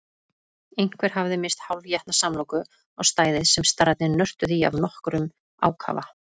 Einhver hafði misst hálfétna samloku á stæðið sem starrarnir nörtuðu í af nokkrum ákafa.